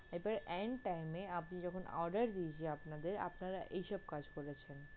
এরপর end time এ আমি যখন order দিয়েছি আপনাদের আপনারা এইসব কাজ করেছেন।